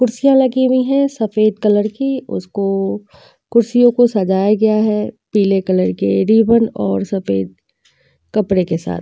कुर्सियां लगी हुई हैं सफ़ेद कलर की उसको कुर्सियों को सजाया गया है पीले कलर के रीबन और सफ़ेद कपड़े के साथ।